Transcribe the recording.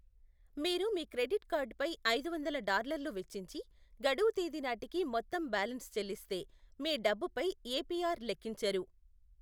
మీరు మీ క్రెడిట్ కార్డ్పై ఐదువందల డాలర్లు వెచ్చించి, గడువు తేదీనాటికి మొత్తం బ్యాలెన్స్ చెల్లిస్తే, మీ డబ్బుపై ఏపిఆర్ లెక్కించరు.